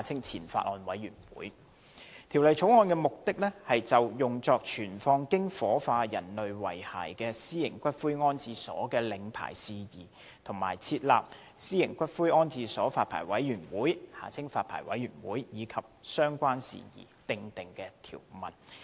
《條例草案》的目的，是就用作存放經火化人類遺骸的私營骨灰安置所的領牌事宜，以及設立私營骨灰安置所發牌委員會和相關事宜，訂定條文。